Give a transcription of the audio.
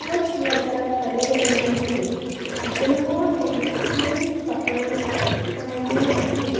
कुछ वेटर खड़े हुए हैं जिन्होंने सेम कपड़े पहने हैं।